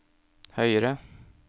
høyere